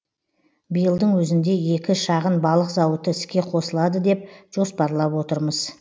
биылдың өзінде екі шағын балық зауыты іске қосылады деп жоспарлап отырмыз